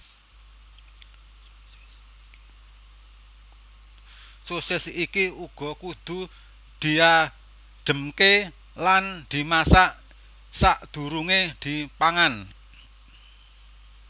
Sosis iki uga kudu diadhemke lan dimasak sakdurunge dipangan